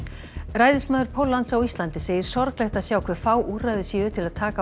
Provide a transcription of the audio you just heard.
ræðismaður Póllands á Íslandi segir sorglegt að sjá hve fá úrræði séu til að taka